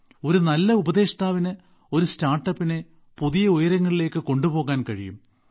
ഒരു നല്ല ഉപദേഷ്ടാവിന് ഒരു സ്റ്റാർട്ടപ്പിനെ പുതിയ ഉയരങ്ങളിലേക്ക് കൊണ്ടുപോകാൻ കഴിയും